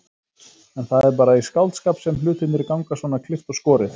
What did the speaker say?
En það er bara í skáldskap sem hlutirnir ganga svona klippt og skorið.